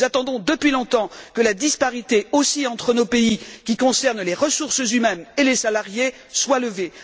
Nous attendons depuis longtemps que la disparité aussi entre nos pays concernant les ressources humaines et les salariés soit levée.